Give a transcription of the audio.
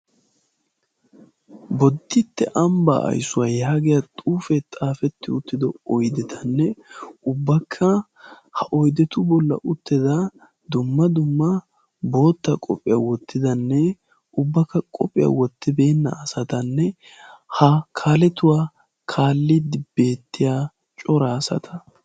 Boditte ambbaa aysuwaa yaagiya xuufee xaafetti uttido oydetanne ubbakka ha oydetu bolla uttida dumma dumma bootta qophiyaa wottidanne ubbakka qophiyaa wottibeenna asatanne ha kaaletuwaa kaalliddi beettiya cora asata.